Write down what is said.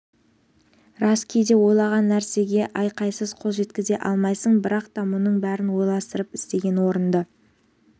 рас кейде ойлаған нәрсеге айқайсыз қол жеткізе алмайсың бірақ та мұның бәрін ойластырып істеген орынды